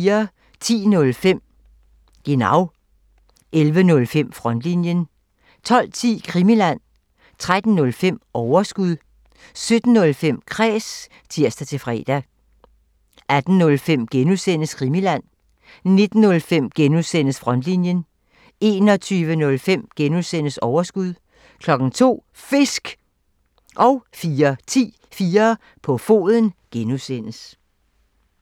10:05: Genau (tir) 11:05: Frontlinjen (tir) 12:10: Krimiland (tir) 13:05: Overskud (tir) 17:05: Kræs (tir-fre) 18:05: Krimiland (G) (tir) 19:05: Frontlinjen (G) (tir) 21:05: Overskud (G) (tir) 02:00: Fisk! (tir) 04:10: 4 på foden (G) (tir)